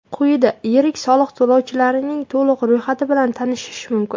Quyida yirik soliq to‘lovchilarning to‘liq ro‘yxati bilan tanishish mumkin.